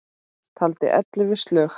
Taldi ellefu slög.